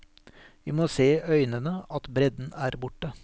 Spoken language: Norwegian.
Vi må se i øynene at bredden er borte.